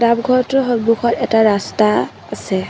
নামঘৰটোৰ সন্মুখত এটা ৰাস্তা আছে।